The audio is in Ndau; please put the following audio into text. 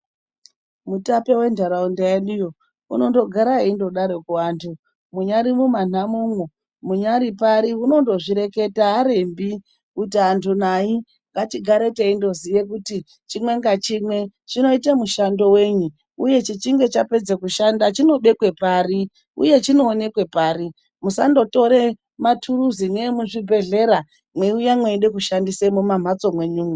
Mutape wendaraunda yedu iyo anongogara engodaro kuti andu munyari pari unongozvireketa arembi kuti andu ngatigare tiengoziva kuti chimwe nachimwe chinoita mushando wei uye chichinge chapedza kushanda chinobekwe pari uye chinoonekwe pari musandotore maturuzi ngemuzvibhedhlera meiuya meida kushandisa mumamhatso menyu mwo